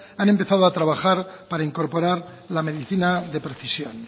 han empezado a trabajar para incorporar la medicina de precisión